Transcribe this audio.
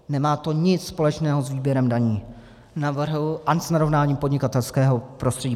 Nemá to nic společného s výběrem daní ani s narovnáním podnikatelského prostředí.